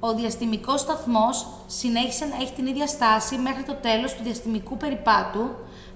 ο διαστημικός σταθμός συνέχισε να έχει την ίδια στάση μέχρι το τέλος του διαστημικού περιπάτου